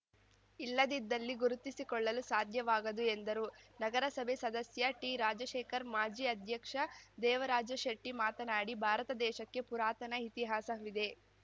ಇಲ್ಲದಿದ್ದಲ್ಲಿ ಗುರುತಿಸಿಕೊಳ್ಳಲು ಸಾಧ್ಯವಾಗದು ಎಂದರು ನಗರಸಭೆ ಸದಸ್ಯ ಟಿರಾಜಶೇಖರ್‌ ಮಾಜಿ ಅಧ್ಯಕ್ಷ ದೇವರಾಜಶೆಟ್ಟಿಮಾತನಾಡಿ ಭಾರತ ದೇಶಕ್ಕೆ ಪುರಾತನ ಇತಿಹಾಸವಿದೆ